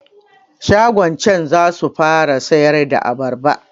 Shagon can zasu fara siyarda abarba